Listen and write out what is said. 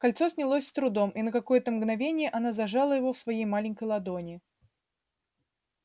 кольцо снялось с трудом и на какое-то мгновение она зажала его в своей маленькой ладони